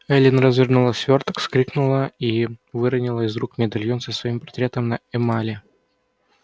эллин развернула свёрток вскрикнула и выронила из рук медальон со своим портретом на эмали